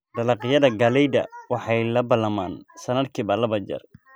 Dalagyada galleyda waxay labanlaabmaan sanadkiiba laba jeer.